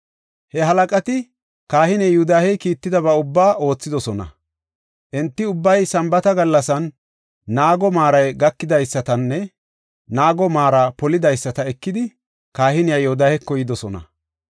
He halaqati, kahiney Yoodahe kiittidaba ubbaa oothidosona. Enti ubbay Sambaata gallasan naago maaray gakidaysatanne naaguwa maara polidaysata ekidi, kahiniya Yoodaheko yidosona.